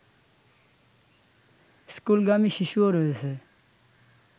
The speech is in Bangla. স্কুলগামী শিশুও রয়েছে